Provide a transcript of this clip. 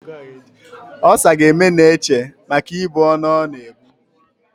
Olsa ga-eme Neche maka ibu ọnụ ọ na-ebu.